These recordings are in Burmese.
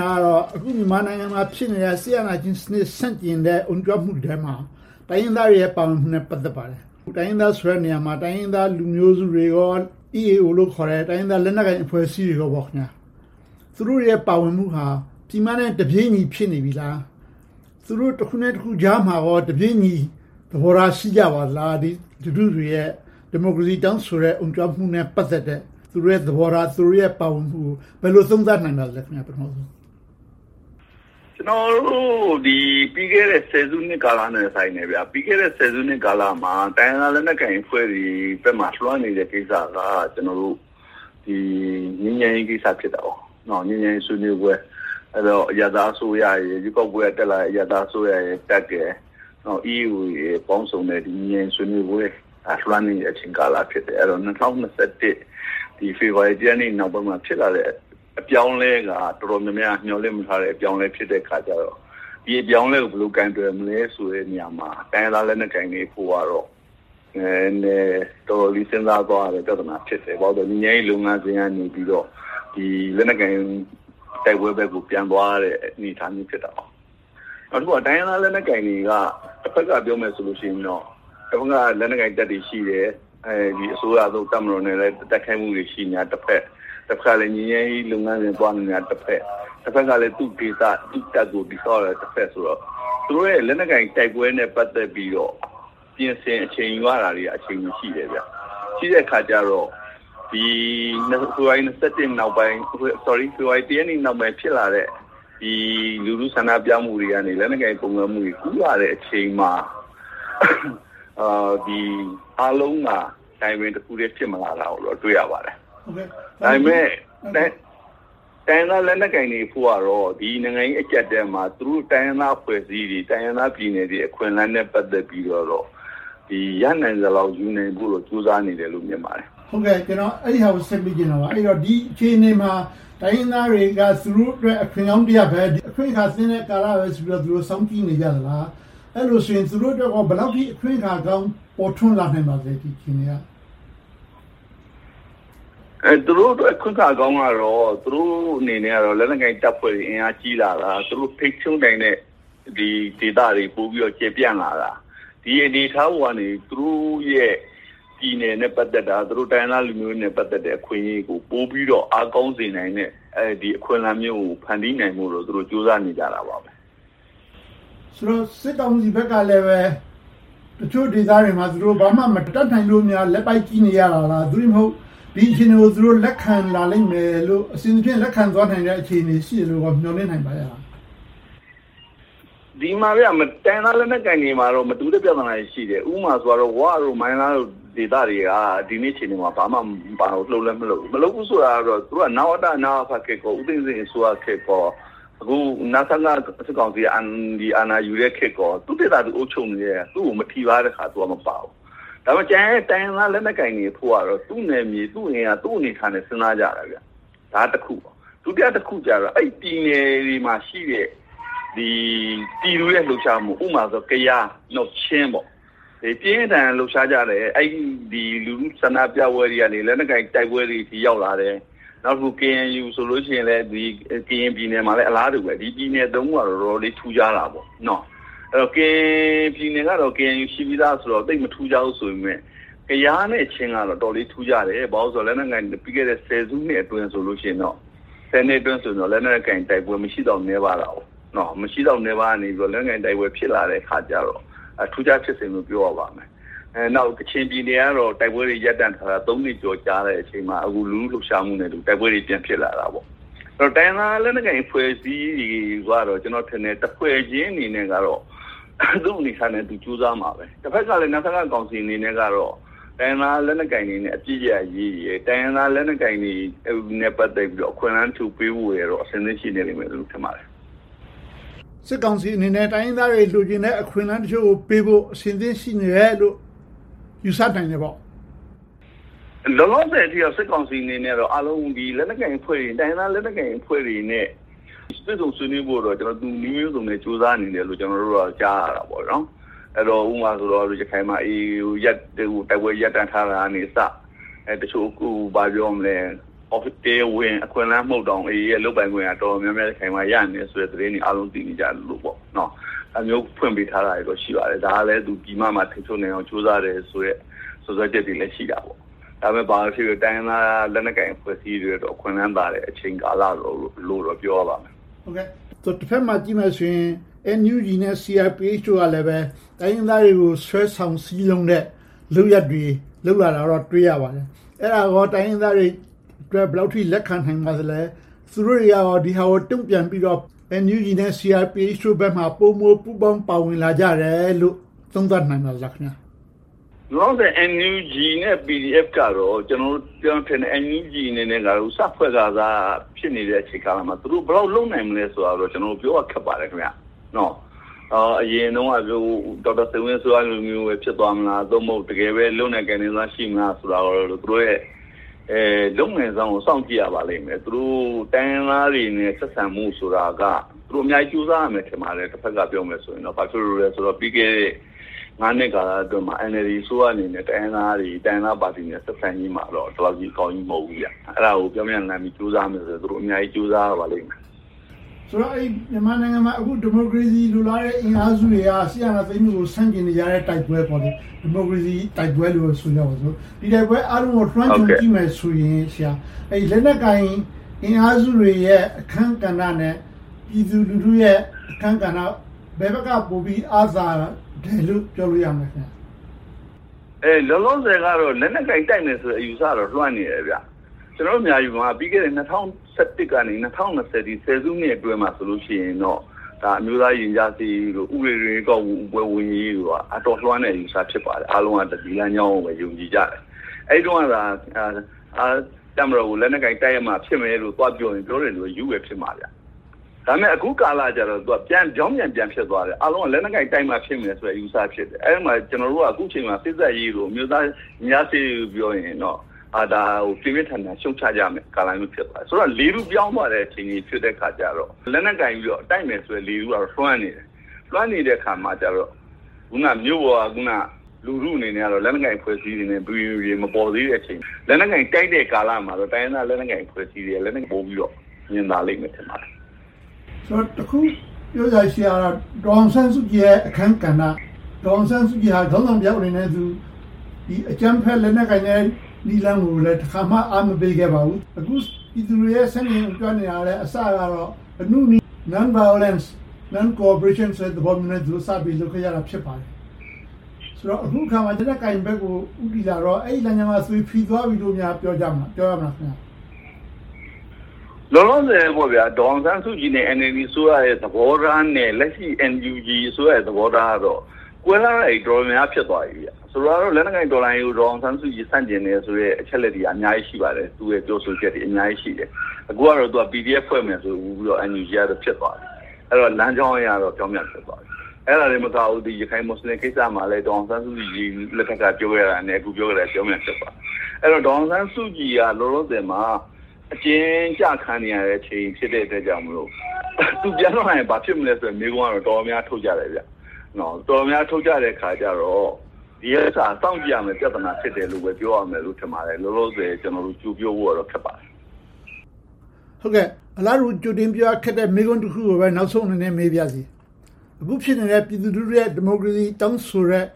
င်တာက အခုမြန်မာနိုင်ငံမှာ ဖြစ်နေတဲ့ စစ်အာဏာရှင်စနစ် ဆန့်ကျင်အုံကြွမှုထဲမှာ တိုင်းရင်းသားတွေရဲ့ ပါဝင်မှုနဲ့ ပတ်သက်ပါတယ်။ တိုင်းရင်းသားဆိုတဲ့နေရာမှာ တိုင်းရင်းသားလူမျိုးစုတွေနဲ့ EAO လို့ခေါ်တဲ့ တိုင်းရင်းသားလက်နက်ကိုင်အဖွဲ့အစည်းတွေပေါ့။ သူတို့ရဲ့ ပါဝင်မှုက ပြည်မနဲ့ တပြေညီဖြစ်နေပြီလား။ သူတို့ တခုနဲ့တခုကြားမှာ တပြေညီသဘောထား ရှိကြပါသလား။ လူထုတွေရဲ့ ဒီမိုကရေစီ တောင်းဆိုတဲ့ အုံကြွမှုနဲ့ ပတ်သက်တဲ့ သူတို့ရဲ့သဘောထား၊ သူတို့ရဲ့ ပါဝင်ပတ်သက်မှုကို ဘယ်လိုသုံးသပ်နိုင်ပါသလဲ။ ဖြေ ။ ။ ကျနော်တို့ ပြီးခဲ့တဲ့ စုနှစ်တဲ့ ဆိုင်တယ်။ ပြီးခဲ့တဲ့ စုနှစ်ကာလမှာ တိုင်းရင်းသားလက်နက်ကိုင်အဖွဲ့တွေဘက်မှာ လွှမ်းနေတဲ့ကိစ္စက ငြိမ်းချမ်းရေးကိစ္စ ဖြစ်တယ်။ ငြိမ်းချမ်းရေးဆွေးနွေးပွဲ။ ရွေးကောက်ပွဲနဲ့ တက်လာတဲ့ အရပ်သားအစိုးရရယ်၊ တပ်ရယ်၊ EAO တို့ပေါင်စုံတဲ့ ငြိမ်းချမ်းရေးဆွေးနွေးပွဲ လွှမ်းနေတဲ့ကာလ ဖြစ်တယ်။ ၂၀၂၁ ဖေဖေါ်ဝါရီလ ရက်နေ့ နောက်ပိုင်းမှာ ဖြစ်လာတဲ့ အပြောင်းအလဲက တော်တော်များများ မျှော်လင့်မထားတဲ့ အပြောင်းအလဲ ဖြစ်တဲ့အခါကြတော့ ဒီအပြောင်းအလဲကို ဘယ်လိုကိုင်တွယ်မလဲဆိုတဲ့နေရာမှာ တိုင်းရင်းသားလက်နက်ကိုင်တွေအဖို့ နည်းနည်းတော်တော်လေး စဉ်းစားသွားရတဲ့ ပြဿနာ ဖြစ်တယ်။ ဘာဖြစ်လို့လဲဆိုတော့ ငြိမ်းချမ်းရေးလုပ်ငန်းစဉ်ကနေပြီးတော့ လက်နက်ကိုင် တိုက်ပွဲဘက်ကို ပြန်သွားရတဲ့အနေအထား ဖြစ်တယ်။ နောက်တခုက တိုင်းရင်းသားလက်နက်ကိုင်တွေက တဘက်ကပြောမယ်ဆိုရင်တော့ တဘက်မှာ လက်နက်ကိုင်တပ်တွေရှိတယ်။ အစိုးရနဲ့ လက်နက်ကိုင်တိုက်နေတာတဖွဲ့၊ တဘက်ကလဲ ငြိမ်းချမ်းရေးလုပ်ငန်းစဉ်သွားနေတာ တဖွဲ့။ တဘက်ကလဲ သူ့ဒေသ၊ သူ့တပ်ကို တည်ဆောက်နေတာဆိုတော့ သူတို့ရဲ့ လက်နက်ကိုင်တိုက်ပွဲနဲ့ ပတ်သက်ပြီးတော့ ပြင်ဆင်အချိန်ယူရတာတွေက အချိန်ရှိတော့ ဖေဖေါ်ဝါရီ ရက်နေ့နောက်ပိုင်း ဖြစ်လာတဲ့ လူထုဆန္ဒပြမှုတွေကနေ လက်နက်ကိုင်ပုန်ကန်မှုတွေ ကူးလာတဲ့အချိန်မှာ အားလုံးက timing တခုတည်း ဖြစ်မလာတာကို တွေ့ရပါတယ်။ ဒါပေမဲ့ တိုင်းရင်းသားလက်နက်ကိုင်တွေအဖို့ကတော့ ဒီနိုင်ငံရေးအကျပ်အတည်းမှာ သူတို့တိုင်းရင်းသားအဖွဲ့အစည်းတွေ၊ တိုင်းရင်းသားဒေသ အခွင့်အလမ်းတွေနဲ့ ပတ်သက်ပြီးတော့ ရနိုင်သလောက် ယူနိုင်ဖို့ ကြိုးစားနေတယ်လို့ မြင်ပါတယ်။ မေး ။ ။ ကျနော် အဲဒါကိုဆက်မေးချင်တာပါ။ ဒီအခြေအနေမှာ တိုင်းရင်းသားတွေက သူတို့အတွက် အခွင့်ကောင်းတရပ်ပဲ၊ အခွင့်အခါသင့်တဲ့ကာလတခုလို့ သူတို့ စောင့်ကြည့်နေကြလား။ အဲဒီလိုဆိုရင် သူတို့အတွက် ဘယ်လောက်အထိ အခွင့်အခါကောင်း ပေါ်ထွန်းလာသလဲ ဒီအခြေအနေက။ ဖြေ ။ ။ သူတို့အတွက် အခွင့်အခါကောင်းကတော့ သူတို့အနေနဲ့ လက်နက်ကိုင်တပ်ဖွဲ့တွေ အင်အားကြီးလာတာ။ သူတို့ထိန်းချုပ်နိုင်တဲ့ဒေသတွေ ပိုပြီးတော့ ကျယ်ပြန့်လာတာ။ ဒီအနေအထားပေါ်ကနေ သူတို့ရဲ့ ပြည်နယ်နဲ့ပတ်သက်တာ၊ တိုင်းရင်းသားလူမျိုးတွေနဲ့ ပတ်သက်တဲ့ အခွင့်အရေးတွေကို ပိုပြီးတော့ အားကောင်းစေနိုင်တဲ့ အခွင့်အလမ်းမျိုးကို ဖန်တီးနိုင်ဖို့ ကြိုးစားနေကြတာပဲ။ မေး ။ ။ ဆိုတော့ စစ်ကောင်စီဘက်ကလဲ တချို့ဒေသတွေမှာ ဘာမှမတတ်နိုင်လို့ လက်ပိုက်ကြည့်နေရတာလား။ သို့တည်းမဟုတ် ဒီအခြေအနေကို လက်ခံလာလိမ့်မယ်လို့ အဆင်သဖြင့် လက်ခံသွားနိုင်မယ့် အခြေအနေကို မျှော်လင့်နိုင်သလား။ ဖြေ ။ ။ တိုင်းရင်းသားလက်နက်ကိုင်တွေမှာတော့ မတူူတဲ့ပြဿနာတွေ ရှိတယ်။ ဥပမာ ဝ၊ မိုင်းလားတို့ ဒေသတွေက ဒီနေ့အခြေအနေမှာ ဘာမှမပါဝင်၊ လှုပ်လဲမလှုပ်ဘူး။ မလှုပ်ဘူးဆိုတာက သူတို့က နဝတ၊ နအဖခေတ်၊ ဦးသိန်းစိန်ခေတ်၊ အခု နစကအာဏာယူတဲ့ခေတ်ကော သူတို့ဒေသ၊ သူတို့အုပ်ချုပ်နေတာ သူကို မထိပါးရင် သူကတော့မပါဘူး။ ဒါပေမဲ့ ကျန်တဲ့တိုင်းရင်းသား လက်နက်ကိုင်တွေအဖို့ကတော့ သူ့နယ်မြေ၊ သူ့အနေအထားနဲ့ စဉ်းစားကြတာ။ ဒါကတခု။ ဒုတိယတခုကတော့ အဲဒီပြည်နယ်တွေမှာရှိတဲ့ ပြည်သူတွေရဲ့ လှုပ်ရှားမှု။ ဥပမာ ကယား၊ ချင်းတို့ ပြင်းပြင်းထန်ထန် လှုပ်ရှားကြတယ်။ လူထုဆန္ဒပြပွဲတွေကနေ လက်နက်ကိုင်တိုက်ပွဲတွေဆီ ရောက်လာတယ်။ နောက် KNU ဆိုရင်လဲ ကရင်ပြည်နယ်မှာဆိုလဲ အလားတူပဲ။ ဒီပြည်နယ်သုံးခုက တော်တော်လေး ထူးခြားတယ်။ ကရင်ပြည်နယ်ကတော့ KNU ရှိပြီသားဆိုတော့ သိပ်မထူးခြားဘူးဆိုပေမယ့်၊ ကယားနဲ့ ချင်းကတော့ အတော်လေး ထူးခြားတယ်။ ဘာဖြစ်လို့လဲဆိုတော့ ပြီးခဲ့တဲ့ ဆယ်စုနှစ်အတွင်းဆိုရင်တော့ လက်နက်ကိုင်တိုက်ပွဲ မရှိသလောက်နည်းပါးခဲ့တဲ့ အခြေအနေကနေ လက်နက်ကိုင်တိုက်ပွဲ ဖြစ်လာခဲ့တော့ ထူးခြားဖြစ်စဉ်လို့ ပြောရပါမယ်။ နောက် ကချင်ပြည်နယ်ကတော့ တိုက်ပွဲတွေ ရပ်တန့်ထားတာ နှစ်ကျော်ကြာတဲ့အချိန်မှာ အခုလူထုလှုပ်ရှားမှုနဲ့အတူ တိုက်ပွဲတွေ ပြန်ဖြစ်လာတာပေါ့။ တိုင်းရင်းသားလက်နက်ကိုင် အဖွဲ့အစည်းတွေကတော့ တဖွဲ့ချင်းအနေနဲ့တော့ သူ့အနေအထားနဲ့သူ ကြိုးစားမှာပဲ။ တဘက်ကလဲ နစကကောင်စီကတော့ တိုင်းရင်းသားလက်နက်ကိုင်တွေနဲ့ အပစ်ရပ်ရေးနဲ့ တိုင်းရင်းသားလက်နက်ကိုင်တွေနဲ့ ပတ်သက်ပြီးတော့ အခွင့်အလမ်းထူပေးရေးဖို့တော့ အဆင်သင့်ရှိနေမယ်လို့ ထင်ပါတယ်။ မေး ။ ။ စစ်ကောင်စီအနေနဲ့ တိုင်းရင်းသားတွေ လိုချင်တဲ့ အခွင့်အလမ်းတချို့ကိုပေးဖို့ အဆင်သင့်ရှိနေတယ်လို့ ယူဆနိုင်တယ်ပေါ့။ ဖြေ ။ ။ လောလောဆယ်အနေနဲ့ စစ်ကောင်စီအနေနဲ့ တိုင်းရင်းသားလက်နက်ကိုင်အဖွဲ့တွေနဲ့ တွေ့ဆုံဆွေးနွေးဖို့တော့ နည်းမျိုးစုံနဲ့ ကြိုးစားနေတယ်လို့ ကျနော်တို့ ကြားသိရတယ်။ ဥပမာ ရခိုင်မှာ AA နဲ့ တိုက်ပွဲရပ်တန့်ထားတာကအစ တချို့တရားဝင် အခွင့်အလမ်းမဟုတ်တောင်၊ AA ရဲ့ လုပ်ပိုင်ခွင့် တော်တော်များများ ရနေတယ်ဆိုတဲ့သတင်း အားလုံးသိနေကြတယ်။ ဒါမျိုးဖွင့်ပေးထားတာ ရှိပါတယ်။ ဒါကလဲ ပြည်မမှာ ထိန်းချုပ်နိုင်အောင် ကြိုးစားနေတယ်ဆိုတဲ့ စွပ်စွဲချက်တွေလည်း ရှိတယ်။ ဘာပဲဖြစ်ဖြစ် တိုင်းရင်းသားလက်နက်ကိုင် အဖွဲ့အစည်းတွေအတွက် အခွင့်လမ်းသာတဲ့ အချိန်ကာလလို့တော့ ပြောရပါမယ်။ မေး ။ ။ တဘက်မှာကြည့်မယ်ဆိုရင် NUG နဲ့ CRPH တို့ကလည်း တိုင်းရင်းသားတွေကို ဆွဲဆောင်စည်းရုံးတဲ့ လုပ်ရပ်တွေ လုပ်လာတာကို တွေ့ရပါတယ်။ အဲဒါကော တိုင်းရင်းသားတွေအတွက် ဘယ်လောက်အထိ လက်ခံနိုင်ပါသလဲ။ သူတို့တွေက ဒါတွေကို တုံ့ပြန်ပြီးတော့ NUG နဲ့ CRPH တို့ဘက်ကို ပိုမိုပူးပေါင်းပါဝင်လာကြတယ်လို့ သုံးသပ်နိုင်ပါသလား။ ဖြေ ။ ။ လောလောဆယ် NUG နဲ့ PDF တို့ကတော့ NUG အနေနဲ့ စဖွဲ့ခါစ အချိန်ကာလမှာ သူတို့ဘယ်လောက်လုပ်နိုင်မလဲဆိုတာကို ကျနော်တို့ ပြောရခက်ပါတယ်။ အရင်တုန်းက ဒေါက်တာစိန်ဝင်းအစိုးရလိုမျိုး ဖြစ်သွားမလား။ သို့မဟုတ် တကယ်ပဲ လုပ်နိုင်ကိုင်နိုင်မလားဆိုတာကို သူတို့ရဲ့ လုပ်နိုင်စွမ်းကို စောင့်ကြည့်ရပါလိမ့်မယ်။ သူတို့ တိုင်းရင်းသားတွေနဲ့ ဆက်ဆံမှုဆိုတာက သူတို့အများကြီး ကြိုးစားရပါလိမ့်မယ်။ ဘာဖြစ်လို့လဲဆိုတော့ ပြီးခဲ့တဲ့ နှစ်ကာလအတွင်းမှာ NLD အစိုးရအနေနဲ့ တိုင်းရင်းသားတွေ၊ တိုင်းရင်းသားပါတီတွေနဲ့ ဆက်ဆံရေးမှာ ဒီလောက်ကြီးအကောင်းကြီး မဟုတ်ဘူး။ အဲဒါကို ပြောင်းပြန်လှန်ပြီး သူတို့ အများကြီးကြိုးစားရပါလိမ့်မယ်။ မေး ။ ။ ဆိုတော့ မြန်မာနိုင်ငံမှာ ဒီမိုကရေစီ လိုလားတဲ့အင်အားစုတွေက စစ်အာဏာသိမ်းမှုကို ဆန့်ကျင်နေကြတဲ့ တိုက်ပွဲ။ ဒီမိုကရေစီတိုက်ပွဲလို့ပဲ ဆိုကြပါစို့။ ဒီတိုက်ပွဲအားလုံးကို လွှမ်းခြုံကြည့်မယ်ဆိုရင် လက်နက်ကိုင်အင်အားစုတွေရဲ့ အခန်းကဏ္ဍနဲ့ ပြည်သူလူထုရဲ့ အခန်းကဏ္ဍ ဘယ်ဘက်ကပိုပြီး အားသာတယ်လို့ ပြောလို့ရမလဲ။ ဖြေ ။ ။ လောလောဆယ်ကတော့ လက်နက်ကိုင်တိုက်မယ်ဆိုတဲ့ အယူအဆကတော့ လွှမ်းနေတယ်။ ကျနော်တို့ မြန်မာပြည်မှာ ၂၀၁၁ ကနေ ၂၀၂၀ အထိ ဆယ်စုနှစ်အတွင်းမှာ အမျိုးသားရင်ကြာစေ့ရေးတို့၊ ဥပဒေတွင်းဝင် ရွေးကောက်ပွဲဝင်ရေးတို့က အတော်လွှမ်းတဲ့ အယူအဆ ဖြစ်ပါတယ်။ အားလုံးက ဒီလမ်းကြောင်းကိုပဲ ယုံကြည်ကြတယ်။ အဲဒီတုန်းကသာ တပ်မတော်ကို လက်နက်ကိုင် တိုက်ရမှဖြစ်မယ်လို့ သွားပြောရင် ပြောတဲ့လူက ရူးနေတယ်လို့ ထင်ခံရမှာ။ ဒါပေမဲ့ အခုကာလကြတော့ ပြောင်းပြန်ပြန်ဖြစ်သွားတယ်။ အားလုံးက လက်နက်ကိုင်တိုက်မှ ဖြစ်မယ်ဆိုတဲ့ အယူအဆဖြစ်တယ်။ အဲဒီမှာ ကျနော်တို့က စေ့စပ်ရေးတို့၊ အမျိုးသားရင်ကြားစေ့ရေးတို့ ပြောတယ်ဆိုရင်တော့ ဒါကို ပြင်းပြင်းထန်ထန် ရှုတ်ချကြတဲ့ကာလ ဖြစ်နေတယ်။ ဆိုတော့ လေထုပြောင်းသွားတဲ့ အခြေအနေဖြစ်တော့ လက်နက်ကိုင်ပြီးတော့ တိုက်မယ်ဆိုတဲ့ လေထုကတော့ လွှမ်းနေတယ်။ လွှမ်းနေတဲ့အခါမှာကြတော့ အခုနမြို့ပေါ်က လူထုအနေနဲ့တော့ လက်နက်ကိုင်အဖွဲ့အစည်းတွေ မပီမပြင် မပေါ်သေးတဲ့အချိန်။ လက်နက်ကိုင်တိုက်တဲ့ကာလမှာတော့ တိုင်းရင်းသားလက်နက်ကိုင်အဖွဲ့အစည်းတွေက လုပ်ကိုင်မှုကို ပိုမြင်လာပါလိမ့်မယ်။ မေး ။ ။ တခုပြောစရာရှိတာက ဒေါ်အောင်ဆန်းစုကြည်ရဲ့ အခန်းကဏ္ဍ။ ဒေါ်အောင်ဆန်းစုကြည်က ခေါင်းဆောင်တယောက်အနေနဲ့ အကြမ်းဖက်လက်နက်ကိုင်တဲ့ နည်းလမ်းကို တခါမှ အားမပေးခဲ့ပါဘူး။ အခုပြည်သူတွေ ဆန့်ကျင်အုံကြွနေတာလဲ အစကတော့ အနုနည်းလမ်းစဉ် Non-violence, Non-cooperation ဆိုတဲ့ သဘောနဲ့ စပြီးလှုပ်ရှားခဲ့ကြတာ ဖြစ်ပါတယ်။ ဆိုတော့ အခုအခါမှာ လက်နက်ကိုင်ဘက်ကို ဦးတည်လာတော့ အဲဒီလမ်းကြောင်းက သွေဖီသွားပြီလို့ ပြောကြမလား။ ဖြေ ။ ။ လောလောဆယ် ဒေါ်အောင်ဆန်းစုကြည်နဲ့ NLD အစိုးရရဲ့ သဘောထားနဲ့ လက်ရှိ NUG ရဲ့ သဘောထားကတော ကွဲပြားတာတွေ တော်တော်များများ ဖြစ်သွားပြီ။ ဆိုပါတော့ လက်နက်ကိုင်တော်လှန်ရေးကို ဒေါ်အောင်ဆန်းစုကြည် ဆန့်ကျင်တယ်ဆိုတဲ့ အချက်အလက်တွေက အများကြီးရှိပါတယ်။ သူ့ရဲ့ ပြောဆိုချက်တွေ အများကြီးရှိတယ်။ အခုကတော့ PDF ဖွဲ့မယ်ဆိုပြီးတော့ NUG ကတော့ ဖြစ်သွားပြီ။ အဲဒီတော့ လမ်းကြောင်းအရတော့ ပြောင်ပြန်ဖြစ်သွားပြီ။ အဲဒါတင်မကဘူး ရခိုင်-မူစလင်ကိစ္စမှာလဲ ဒေါ်အောင်ဆန်းစုကြည်လက်ထက်က ပြောခဲ့တာနဲ့ အခုပြောနေတာနဲ့ ပြောင်ပြန်ဖြစ်သွားပြီ။ အဲဒီတော့ ဒေါ်အောင်ဆန်းစုကြည်က လောလောဆယ်မှာ အကျဉ်းကျခံနေရတဲ့အချိန် ဖြစ်တဲ့အတွက်ကြောင့်မို့ သူပြန်ထွက်လာရင် ဘာဖြစ်မလဲဆိုတဲ့ မေးခွန်းကတော့ တော်တော်များများ ထုတ်ကြတယ်။ တော်တော်များများ ထုတ်ကြတဲ့အခါကြတော့ ဒီဥစ္စာက စောင့်ကြည့်ရမယ့် ပြဿနာ ဖြစ်တယ်လို့ လောလောဆယ် ပြောရလိမ့်မယ်။ ကြိုပြောဖို့တော့ ခက်ပါတယ်။ မေး ။ ။ အလားတူ ကြိုတင်ပြီးတော့ ခက်တဲ့မေးခွန်းတခုကိုပဲ နောက်ဆုံးအနေနဲ့ မေးပါရစေ။ အခုဖြစ်နေတဲ့ ပြည်သူလူထုရဲ့ ဒီမိုကရေစီ တောင်းဆိုနေတဲ့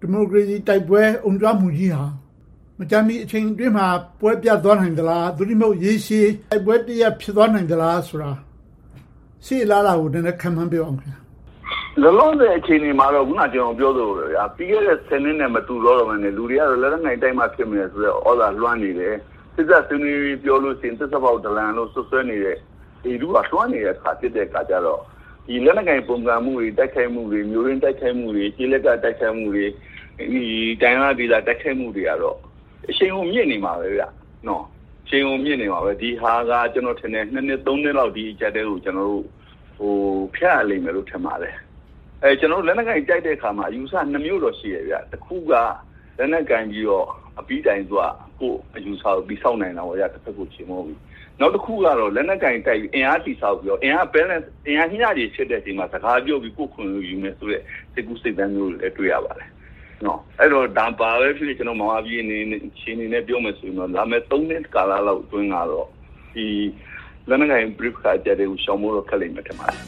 ဒီမိုကရေစီတိုက်ပွဲ အုံကြွမှုကြီးက မကြာမီအချိန်ကာလအတွင်းမှာ ပွဲပြတ်သွားနိုင်သလား။ သို့တည်းမဟုတ် ရေရှည်တိုက်ပွဲတရပ် ဖြစ်သွားနိုင်သလားဆိုတာ ရှေ့အလားအလာကို ခန့်မှန်းပြောပေးပါ။ ဖြေ ။ ။ လောလောဆယ် အခြေအနေမှာတော့ အခုန ကျနော်ပြောသလို ပြီးခဲ့တဲ့ ဆယ်စုနှစ်နဲ့ မတူတော့ဘဲနဲ့ လူတွေက လက်နက်ကိုင်တိုက်မှာ ဖြစ်တော့မယ်ဆိုတဲ့ သြဇာလွှမ်းနေတယ်။ စေ့စပ်ဆွေးနွေးဖို့ ပြောတယ်ဆိုရင် သစ္စာဖောက်ဒလန်လို့ စွပ်စွဲနေတဲ့ လေထုက လွှမ်းနေတဲ့အခါ ဖြစ်နေတော့ လက်နက်ကိုင် ပုန်ကန်မှုတွေ၊ တိုက်ခိုက်မှုတွေ၊ မြို့တွင်းတိုက်ခိုက်မှုတွေ၊ ကျေးလက်တိုက်ခိုက်မှုတွေ၊ တိုင်းရင်းသားဒေသ တိုက်ခိုက်မှုတွေကတော့ အရှိန်အဟုန် မြင့်နေမှာပဲ။ ဒီဟာက ကျနော်ထင်တယ် - နှစ် နှစ်လောက် ဒီအကျပ်အတည်းကို ကျနော်တို့ ဖြတ်ရလိမ့်မယ်လို့ ထင်ပါတယ်။ လက်နက်ကိုင်တိုက်တဲ့အခါမှာ အယူအဆနှစ်မျိုးတော့ ရှိတယ်။ တခုက လက်နက်ကိုင်ပြီးတော့ အပြီးတိုင် ကိုယ့်အယူအဆကို တည်ဆောက်တာ - တဘက်ကို ချေမှုန်းပြီ။ နောက်တခုကတော့ လက်နက်ကိုင်တိုက်ပြီး အင်အားတည်ဆောက်ပြီးတော့ အင်အား balance မျှချေရှိတဲ့အချိန်မှာ စကားပြောပြီး ကိုယ့်အခွင့်အရေးကိုယူမယ်ဆိုတဲ့ စိတ်ကူးစိတ်သန်းမျိုးတွေလည်း တွေ့ရပါတယ်။ ဘာပဲဖြစ်ဖြစ် မြန်မာပြည်အခြေအနေနဲ့ ပြောမယ်ဆိုရင် လာမယ့် နှစ်ကာလလောက်အတွင်းတော့ လက်နက်ကိုင်ပဋိပက္ခကို ရှောင်ဖို့တော့ တော်တော်လေးခက်လိမ့်မယ် ထင်ပါတယ်။